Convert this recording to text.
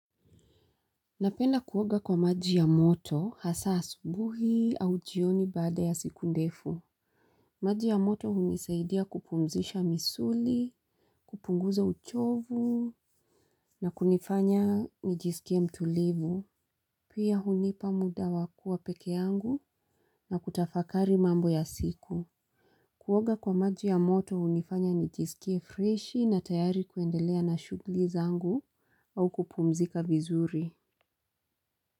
Napenda kuoga kwa maji ya moto hasa asubuhi au jioni baada ya siku ndefu. Maji ya moto unisaidia kupumzisha misuli, kupunguza uchovu na kunifanya nijisikie mtulivu. Pia hunipa muda wakuwa peke yangu na kutafakari mambo ya siku. Kuwoga kwa maji ya moto unifanya nijisikie fresh na tayari kuendelea na shugli zangu au kupumzika vizuri.